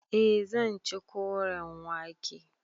Eh zan ci koren wake.